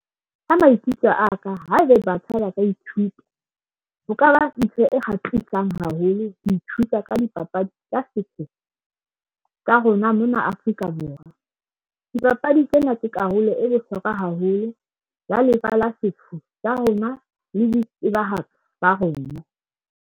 Ha maikutlo a ka haebe batjha ba ka ithuta ho ka ba e kgahlisang haholo ho ithuta ka dipapadi tsa setso sa rona mona Afrika Borwa dipapadi tsena tse karolo e bohlokwa haholo ya lefa la setso rona le di itsebahatso ba reng.